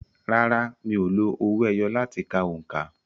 Rárá, mi ò lo owó ẹyọ láti ka òǹkà.